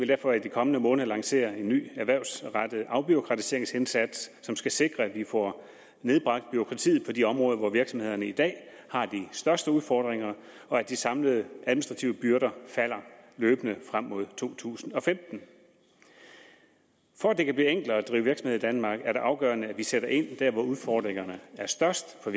derfor i de kommende måneder lancere en ny erhvervsrettet afbureaukratiseringsindsats som skal sikre at vi får nedbragt bureaukratiet på de områder hvor virksomhederne i dag har de største udfordringer og at de samlede administrative byrder falder løbende frem mod to tusind og femten for at det kan blive enklere at drive virksomhed i danmark er det afgørende at vi sætter ind der hvor udfordringerne er størst for